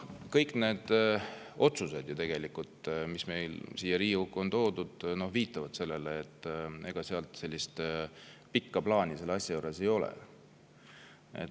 Kõik need otsused, mis on siia Riigikokku toodud, viitavad sellele, et ega pikka plaani selle asja juures ei ole.